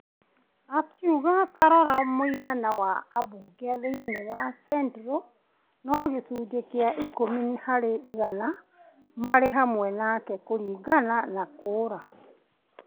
Akiuga ta rora mũigana wa ambunge thĩinĩ wa Central; no gĩcunjĩ kĩa ikũmi harĩ igana marĩ hamwe nake kũringana na kura.